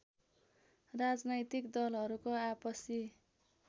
राजनैतिक दलहरूको आपसी